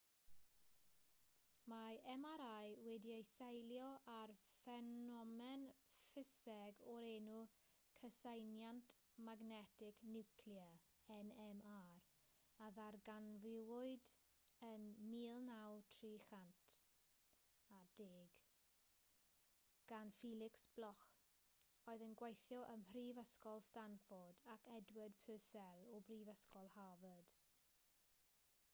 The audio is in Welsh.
mae mri wedi'i seilio ar ffenomen ffiseg o'r enw cyseiniant magnetig niwclear nmr a ddarganfuwyd yn y 1930au gan felix bloch oedd yn gweithio ym mhrifysgol stanford ac edward purcell o brifysgol harvard